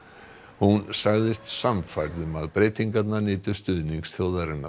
hún sagðist sannfærð um að breytingarnar nytu stuðnings þjóðarinnar